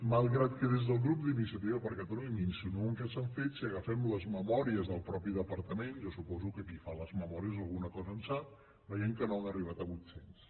malgrat que des del grup d’iniciativa per catalunya m’insinuen que s’han fet si agafem les memòries del mateix departament jo suposo que qui fa les memòries alguna cosa en sap veiem que no han arribat a vuit cents